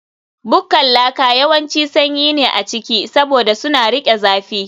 Bukkar laka yawanci sanyi ne a ciki, saboda suna riƙe zafi